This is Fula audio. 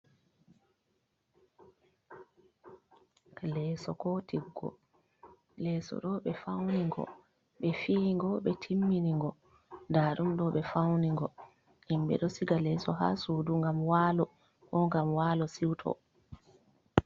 leeso ko tiggo, leeso ɗo ɓe fauni ngo, ɓe fii ngo, ɓe timmini ngo nda ɗum ɗo ɓe fauni ngo, himɓe do siga leeso ha sudu gam walo, ko gam walo siuto.